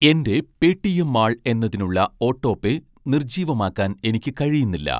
എൻ്റെ Paytm Mall എന്നതിനുള്ള autopay നിർജ്ജീവമാക്കാൻ എനിക്ക് കഴിയുന്നില്ല